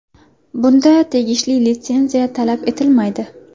Bunda tegishli litsenziya talab etilmaydi.